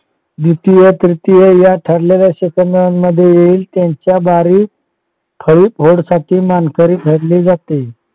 द्वितीय त्रितिय या ठरलेल्या सेकंदांमध्ये येईल त्यांच्या बारी खरी मानकरी ठरली जाते.